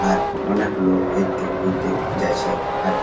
আর অনেক লোক এদিক দিয়ে ওদিক দিয়ে যাইছে আর।